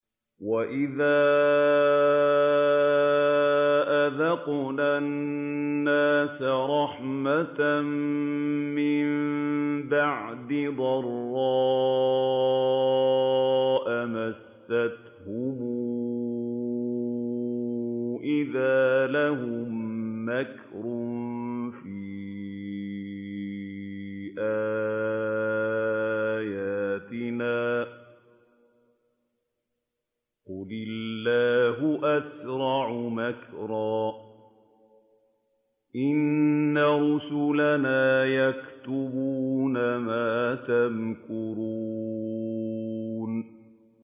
وَإِذَا أَذَقْنَا النَّاسَ رَحْمَةً مِّن بَعْدِ ضَرَّاءَ مَسَّتْهُمْ إِذَا لَهُم مَّكْرٌ فِي آيَاتِنَا ۚ قُلِ اللَّهُ أَسْرَعُ مَكْرًا ۚ إِنَّ رُسُلَنَا يَكْتُبُونَ مَا تَمْكُرُونَ